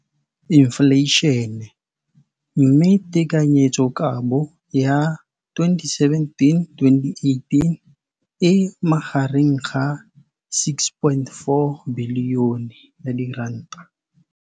Infleišene, mme tekanyetsokabo ya 2017, 18, e magareng ga R6.4 bilione.